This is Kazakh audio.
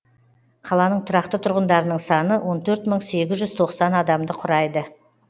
қаланың тұрақты тұрғындарының саны он төрт мың сегіз жүз тоқсан адамды құрайды